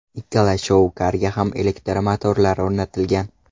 Ikkala shou-karga ham elektromotorlar o‘rnatilgan.